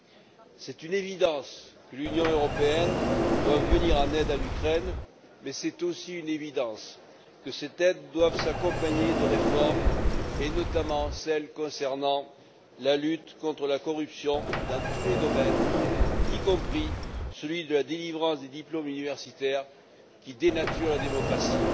Il est évident que l'Union européenne doit venir en aide à l'Ukraine mais il est tout aussi évident que cette aide doit s'accompagner de réformes et notamment de celle concernant la lutte contre la corruption dans tous les domaines y compris celui de la délivrance des diplômes universitaires qui dénature la démocratie.